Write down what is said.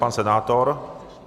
Pan senátor?